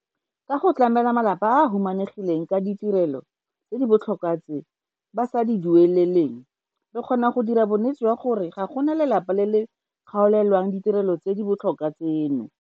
Ka go tlamela malapa a a humanegileng ka ditirelo tse di botlhokwa tse ba sa di dueleleng, re kgona go dira bonnete jwa gore ga go na lelapa le le kgaolelwang ditirelo tse di botlhokwa tseno.